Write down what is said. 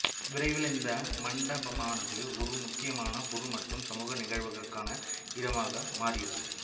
விரைவில் இந்த மண்டபமானது ஒரு முக்கியமான பொது மற்றும் சமூக நிகழ்வுகளுக்கான இடமாக மாறியது